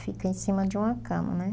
Fica em cima de uma cama, né?